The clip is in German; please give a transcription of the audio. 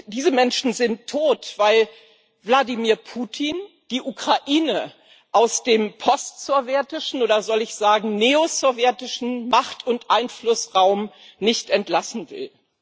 Diese Menschen sind tot, weil Wladimir Putin die Ukraine aus dem postsowjetischen, oder soll ich sagen neosowjetischen Macht und Einflussraum nicht entlassen will.